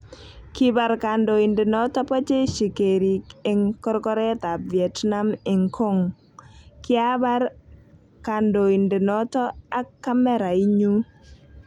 Kibar kandoindenoto ba jeshi keriik eng korkoret ab Vietnam eng cong; Kiabar kandondenoto ak kamerainyu